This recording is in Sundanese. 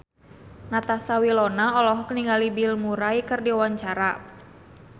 Natasha Wilona olohok ningali Bill Murray keur diwawancara